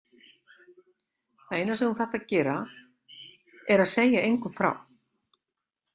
Það eina sem þú þarft að gera er að segja engum frá